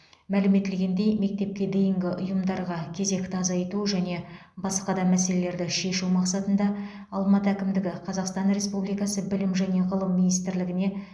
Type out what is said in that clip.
мәлім етілгендей мектепке дейінгі ұйымдарға кезекті азайту және басқа да мәселелерді шешу мақсатында алматы әкімдігі қазақстан республикасы білім және ғылым министрлігіне